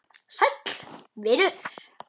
Sæll vinur